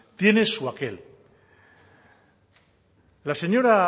tiene su aquel la señora